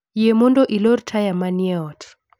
Yie mondo ilor taya ma ni e ot